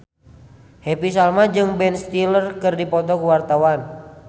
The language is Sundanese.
Happy Salma jeung Ben Stiller keur dipoto ku wartawan